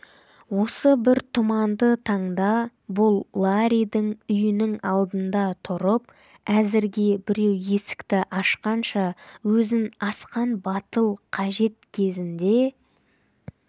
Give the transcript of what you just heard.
осы бір тұманды таңда бұл ларридің үйінің алдында тұрып әзірге біреу есікті ашқанша өзін асқан батыл қажет кезінде